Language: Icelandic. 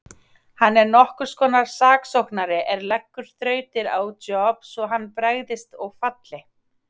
Hann er nokkurs konar saksóknari er leggur þrautir á Job svo hann bregðist og falli.